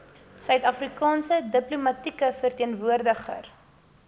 suidafrikaanse diplomatieke verteenwoordiger